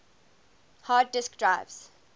hard disk drives